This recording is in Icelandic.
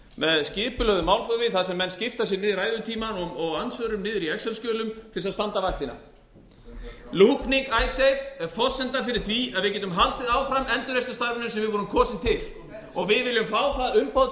með skipulögðu málþófi þar sem menn skipta sínum ræðutíma og andsvörum niður í exelskjölum til að standa vaktina lúkning icesave er forsenda fyrir því að við getum haldið áfram endurreisnarstarfinu sem við vorum kosin til og við viljum